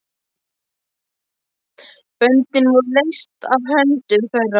Böndin voru leyst af höndum þeirra.